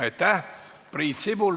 Aitäh!